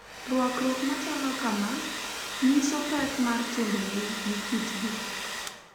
Rwakruok machalo kama nyiso pek mar timbegi gi kitgi